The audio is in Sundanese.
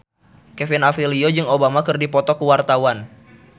Kevin Aprilio jeung Obama keur dipoto ku wartawan